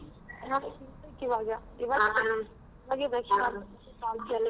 ಆ ತಿನ್ಬೇಕು ಈವಾಗ .